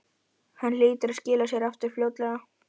Hann hlýtur að skila sér aftur fljótlega